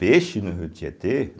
Peixe no rio Tietê?